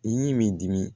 I ye min dimi